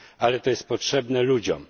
Ale to jest potrzebne ludziom.